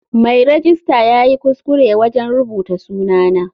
Mai rejista yayi kuskure wajen rubuta sunana.